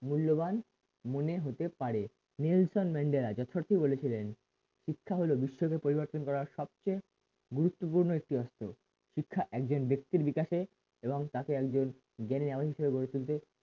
মূল্যবান মনে হতে পারে নেলসন ম্যান্ডেলা যথারীতি বলেছিলেন তা হলো বিশ্ব কে পরিবর্তন করা সবচেয়ে গুরুত্বপূর্ণ একটি অস্ত্র শিক্ষা একজন ব্যক্তির বিকাশে এবং তাকে একজন জ্ঞানী এমন করে গড়ে তুলতে